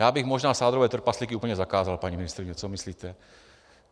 Já bych možná sádrové trpaslíky úplně zakázal, paní ministryně, co myslíte?